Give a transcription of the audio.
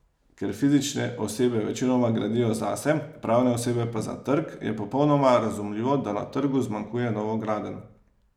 Ker fizične osebe večinoma gradijo zase, pravne osebe pa za trg, je popolnoma razumljivo, da na trgu zmanjkuje novogradenj.